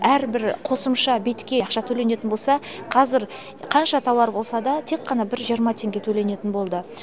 әрбір қосымша бетке ақша төленетін болса қазір қанша тауар болса да тек қана бір жиырма теңге төленетін болды